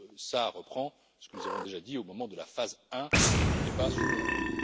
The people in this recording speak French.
Cela reprend ce que nous avons déjà dit au moment de la phase 1 du débat sur l'UEM.